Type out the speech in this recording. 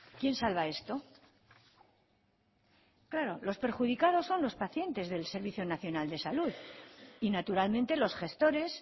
quién salva esto claro los perjudicados son los pacientes del servicio nacional de salud y naturalmente los gestores